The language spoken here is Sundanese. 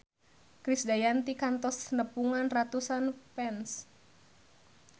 Krisdayanti kantos nepungan ratusan fans